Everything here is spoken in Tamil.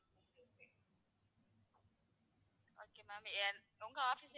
okay ma'am என் உங்க office ma'am,